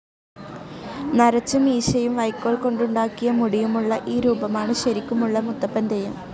നരച്ച മീശയും വൈക്കോൽ കൊണ്ടുണ്ടാക്കിയ മുടിയും ഉള്ള ഈ രൂപമാണ് ശരിക്കുമുള്ള മുത്തപ്പൻ തെയ്യം.